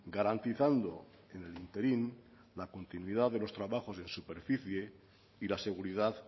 garantizando en el ínterin la continuidad de los trabajos de superficie y la seguridad